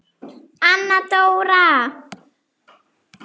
Anna Dóra!